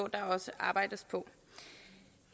der også arbejdes på